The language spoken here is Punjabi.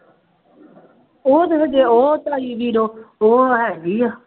ਉਹ ਤਾਂ ਫੇਰ ਜੇ ਉਹ ਤਾਈ ਬੀਰੋ ਉਹ ਹੈਗੀ ਹੈ